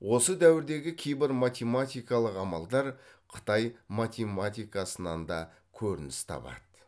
осы дәуірдегі кейбір математикалық амалдар қытай математикасынан да көрініс табады